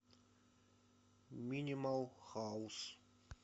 минимал хаус